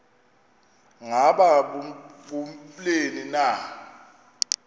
ngaba kubleni na